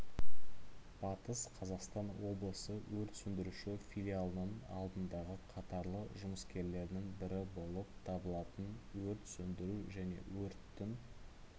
батыс қазақстан облысы өрт сөндіруші филиалының алдыңғы қатарлы жұмыскерлерінің бірі болып табылатын өрт сөндіру және өрттің